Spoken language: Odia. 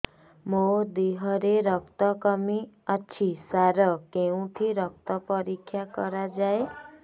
ମୋ ଦିହରେ ରକ୍ତ କମି ଅଛି ସାର କେଉଁଠି ରକ୍ତ ପରୀକ୍ଷା କରାଯାଏ